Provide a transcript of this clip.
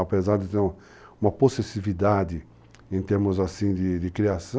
Apesar de ter uma possessividade em termos assim de de criação,